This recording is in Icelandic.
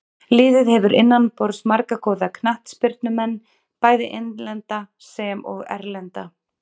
Liðið hefur innanborðs marga góða knattspyrnumenn, bæði innlenda sem og erlenda.